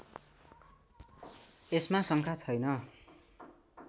यसमा शङ्का छैन